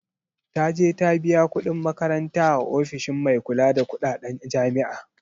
Taje ta biya kuɗin makaranta a ofishin mai kula da kuɗaɗen jami'a